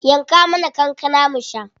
Yanka mana kankana mu sha.